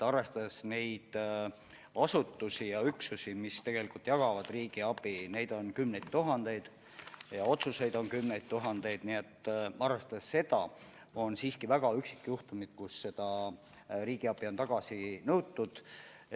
Arvestades seda, et neid asutusi ja üksusi, mis jagavad riigiabi, on kümneid tuhandeid ja ka otsuseid on kümneid tuhandeid, on need siiski väga üksikud juhtumid, kui riigiabi on tagasi nõutud.